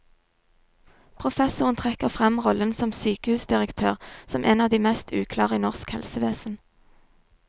Professoren trekker frem rollen som sykehusdirektør som en av de mest uklare i norsk helsevesen.